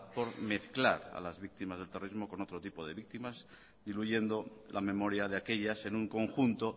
por mezclar a las víctimas del terrorismo con otro tipo de víctimas diluyendo la memoria de aquellas en un conjunto